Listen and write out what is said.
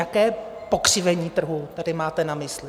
Jaké pokřivení trhu tady máte na mysli?